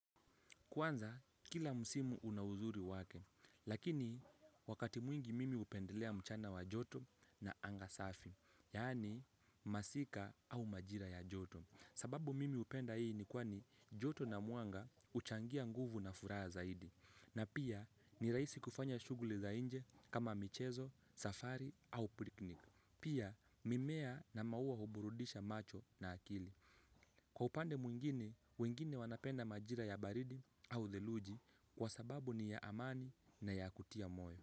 Kwanza kila msimu una uzuri wake, lakini wakati mwingi mimi hupendelea mchana wa joto na anga safi, yaani masika au majira ya joto. Sababu mimi hupenda hii ni kuwa joto na mwanga huchangia nguvu na furaha zaidi. Na pia ni rahisi kufanya shughuli za nje kama michezo, safari au piknik. Pia mimea na maua huburudisha macho na akili. Kwa upande mwingine, wengine wanapenda majira ya baridi au theluji kwa sababu ni ya amani na ya kutia moyo.